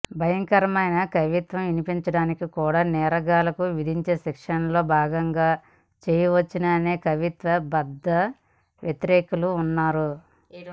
భయంకరమైన కవిత్వం వినిపించడాన్ని కూడా నేరగాళ్లకు విధించే శిక్షల్లో భాగంగా చేయవచ్చుననే కవిత్వ బద్ధవ్యతిరేకులూ ఉన్నారు